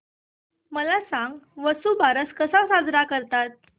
मला सांग वसुबारस कसा साजरा करतात